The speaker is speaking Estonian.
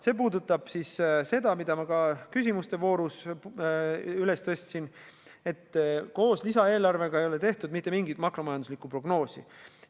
See puudutab seda, mille ma ka küsimuste voorus üles tõstsin, et koos lisaeelarvega ei ole tehtud mitte mingit makromajanduslikku prognoosi.